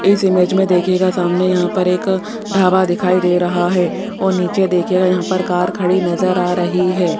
इस इमेज में देखिएगा सामने यहां पर एक ढाबा दिखाई दे रहा है और नीचे देखिएगा यहां पर कार खड़ी नजर आ रही है।